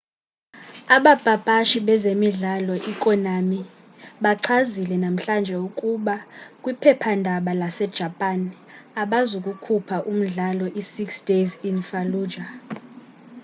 abapapashi bezemidlalo i-konami bachazile namhlanje ukuba kwiphephandaba lase-japan abazukukhupha umdlalo i-six days in fallujah